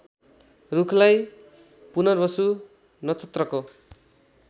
रूखलाई पुनर्वसु नक्षत्रको